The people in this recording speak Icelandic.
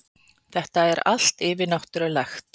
Þetta er allt yfirnáttúrulegt.